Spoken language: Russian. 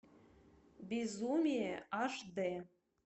безумие аш дэ